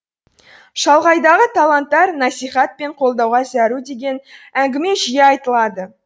шалғайдағы таланттар насихат пен қолдауға зәру деген әңгіме жиі айтылады